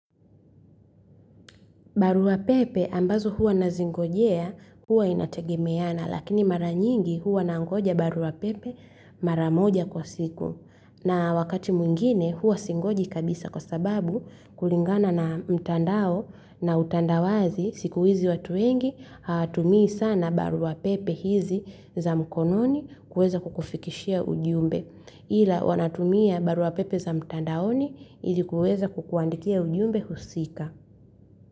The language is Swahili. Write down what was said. Barua pepe ambazo huwa nazingojea huwa inategemeana lakini maranyingi huwa nangoja baruapepe maramoja kwa siku. Na wakati mwingine huwa singoji kabisa kwa sababu kulingana na mtandao na utandawazi siku hizi watu wengi hawatumii sana baruapepe hizi za mkononi kuweza kukufikishia ujumbe. Ila wanatumia baruapepe za mtandaoni ilikuweza kukuandikia ujumbe husika.